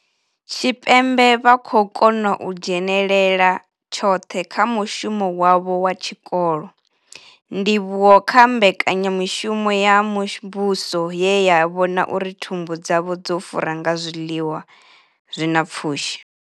Tshipembe vha khou kona u dzhenela tshoṱhe kha mushumo wavho wa tshikolo, ndivhuwo kha mbekanya mushumo ya muvhuso ye ya vhona uri thumbu dzavho dzo fura nga zwiḽiwa zwi na pfushi.